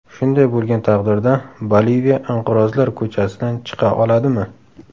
Shunday bo‘lgan taqdirda Boliviya inqirozlar ko‘chasidan chiqa oladimi?